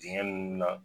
Dingɛ nunnu na